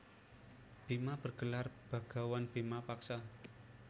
Bima bergelar bagawan bima paksa